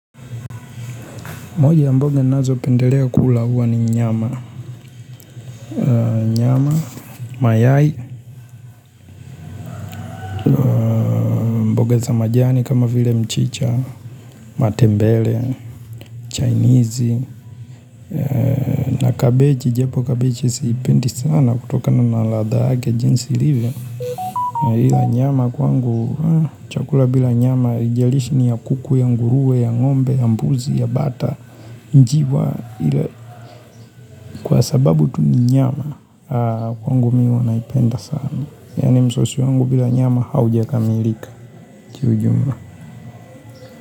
Moja ya mboge nazo pendelea kula huwa ni nyama nyama, mayai, mboga za majani kama vile mchicha, matembele, chainizi na cabbage, japo cabbage siipendi sana kutokana na ladha yake jinsi ilivyo na hila nyama kwangu, chakula bila nyama, hijalishi ni ya kuku, ya nguruwe, ya ngombe, ya mbuzi, ya bata, njiwa Kwa sababu tu ni nyama, kwangu miwa naipenda sana ya nimso si wangu bila nyama hauja kamilika juu juu.